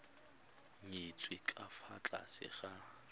nyetswe ka fa tlase ga